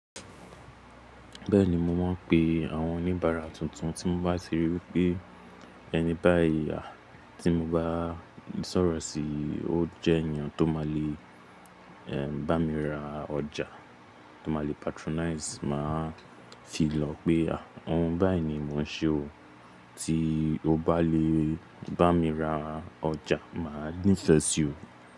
Bẹ́ẹ̀ni, mo máa ń pe àwọn oníbàárà tuntun tí mo bá ti ríi wípé ẹni báyì tí mo bá sọ̀rọ̀ sí, ó jẹ́ èèyàn tó máa le bá mi ra ọjà, tó máa le patronize, màá fi lọ pé à, òun báyìí ni mo ń ṣe o. Tí o bá lè bá mi ra ọjà, màá ní ìfẹ́ sí o.